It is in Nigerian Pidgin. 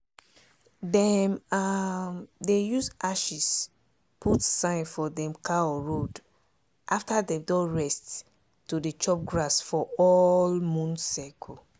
dem um dey use ashes put sign for dem cow road after dem don rest to dey chop grass for all moon cycle.